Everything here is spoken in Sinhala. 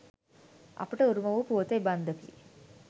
අපට උරුම වූ පුවත එබන්දකි.